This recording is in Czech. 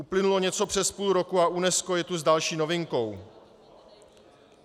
Uplynulo něco přes půl roku a UNESCO je tu s další novinkou.